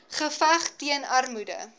geveg teen armoede